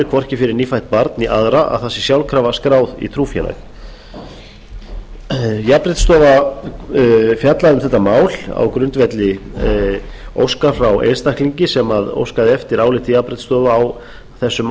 hvorki fyrir nýfætt barn né aðra að það sé sjálfkrafa skráð í trúfélag jafnréttisstofa fjallaði um þetta mál á grundvelli óska frá einstaklingi sem óskaði eftir áliti jafnréttisstofu á þess